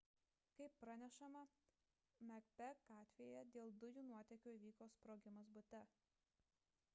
kaip pranešama macbeth gatvėje dėl dujų nuotėkio įvyko sprogimas bute